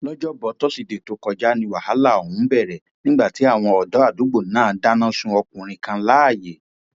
lọjọbọ tosidee tó kọjá ní wàhálà ọhún bẹrẹ nígbà tí àwọn ọdọ àdúgbò náà dáná sun ọkùnrin kan láàyè